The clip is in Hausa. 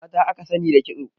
Mata aka sani da kitso.